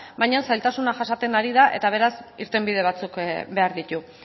baina zailtasunak jasaten ari da eta beraz irtenbide batzuk behar ditu